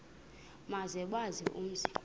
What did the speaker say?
maze bawazi umzi